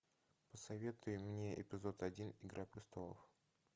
посоветуй мне эпизод один игра престолов